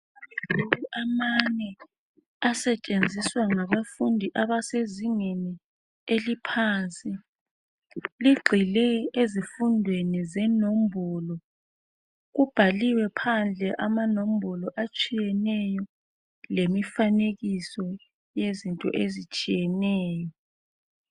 Amabhuku amane asetshenziswa ngabafundi abasezingeni eliphansi. Ligxile ezifundweni zenombolo. Kubhaliwe phandle amanombolo atshiyeneyo lemifanekiso yezinto ezitshiyeneyo.